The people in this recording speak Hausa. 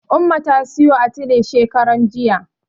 Umma ta siyo atile shekaranjiya.